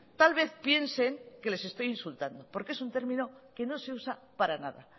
tal vez piensen que les estoy insultando porque es un término que no se usa para nada